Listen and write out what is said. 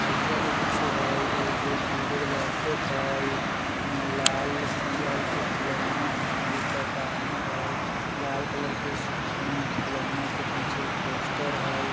आइडिया के कुछो हय एगो दु गो लैपटॉप हय इने लाल पियर के फुलौना हय ऊपर टांगल हय लाल कलर के उम्म फूलोना के पीछे पोस्टर हय।